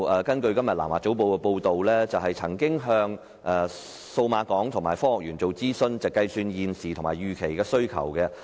根據今天《南華早報》的報道，創科署曾向數碼港及科技園公司諮詢，計算現時及預期的需求。